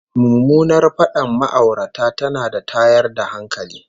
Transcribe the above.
Mummunar fadar ma'aurata tana da tayar da hankali